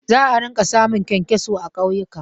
Za a rinƙa samun ƙyankyaso a ƙauyuka.